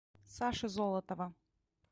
саши золотова